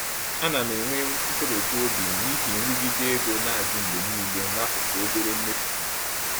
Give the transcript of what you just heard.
Ana m enwe nkoropụ n’obi n’ihi nrụgide ego na-adị mgbe niile n’akụkụ obere mmefu m.